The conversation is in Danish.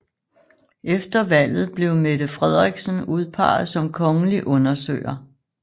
Efter valget blev Mette Frederiksen udpeget som kongelig undersøger